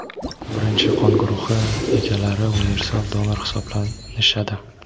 birinchi qon guruhi egalari universal donor hisoblanishadi.